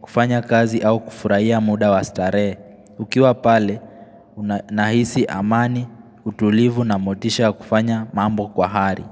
kufanya kazi au kufurahia muda wastarehe. Ukiwa pale, una nahisi amani, utulivu na motisha ya kufanya mambo kwa hari.